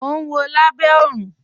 Mò n wọ̀ Lábẹ̀ Òrun.